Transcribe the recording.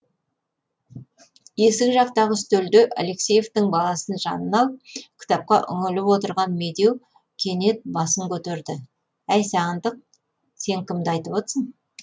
есік жақтағы үстелде алексеевтің баласын жанына алып кітапқа үңіліп отырған медеу кенет басын көтерді әй сағындық сен кімді айтып отырсың